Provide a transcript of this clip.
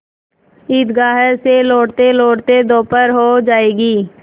ईदगाह से लौटतेलौटते दोपहर हो जाएगी